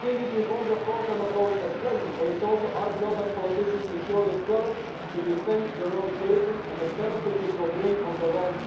These reforms are not, of course, always pleasant but it is also our job as politicians to have the courage to defend the road taken and the benefits it will bring in the long